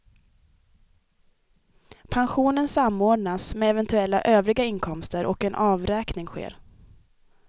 Pensionen samordnas med eventuella övriga inkomster och en avräkning sker.